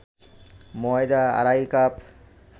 ময়দা আড়াই কাপ